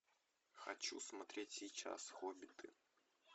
хочу смотреть сейчас хоббиты